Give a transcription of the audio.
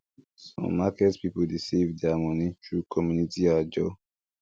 some market people dey save their money through community ajor